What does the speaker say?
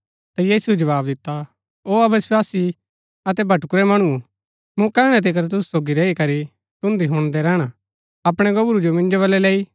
ता यीशुऐ जवाव दिता ओ अविस्वासी अतै भटकुरै मणुओ मुँ कैहणै तिकर तुसु सोगी रैई करी तुन्दी हुणदै रैहणा अपणै गोबरू जो मिन्जो बलै लैई